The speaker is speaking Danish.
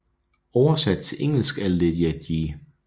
Oversat til engelsk af Lydia G